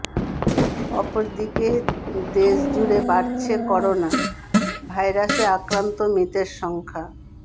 অপরদিকে দেশ জুড়ে বাড়ছে করোনা ভাইরাসে আক্রান্ত ও মৃতের সংখ্যা